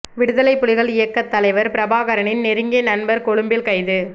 விடுதலைப் புலிகள் இயக்கத் தலைவர் பிரபாகரனின் நெருங்கிய நண்பர் கொழும்பில் கைது